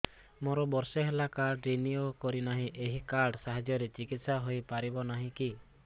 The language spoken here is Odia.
ମୋର ବର୍ଷେ ହେଲା କାର୍ଡ ରିନିଓ କରିନାହିଁ ଏହି କାର୍ଡ ସାହାଯ୍ୟରେ ଚିକିସୟା ହୈ ପାରିବନାହିଁ କି